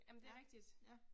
Ja, ja